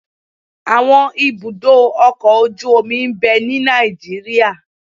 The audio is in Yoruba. Àwọn ibùdó ọkọ̀-ojú omi ń bẹ ní Nàìjíríà